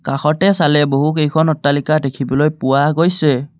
কাষতে চালে বহুকেইখন অট্টালিকা দেখিবলৈ পোৱা গৈছে।